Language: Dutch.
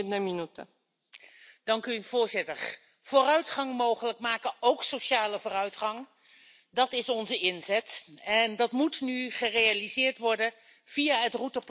Voorzitter, vooruitgang mogelijk maken, ook sociale vooruitgang, dat is onze inzet, en dat moet nu gerealiseerd worden via het routeplan naar een socialer Europa.